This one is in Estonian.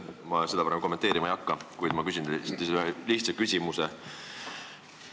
Ma seda praegu kommenteerima ei hakka, kuid ma küsin teilt ühe lihtsa küsimuse.